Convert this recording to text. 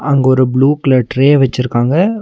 அங்க ஒரு blue colour tray வச்சுருக்காங்க.